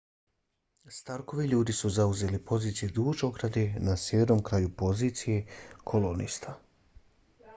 starkovi ljudi su zauzeli pozicije duž ograde na sjevernom kraju pozicije kolonista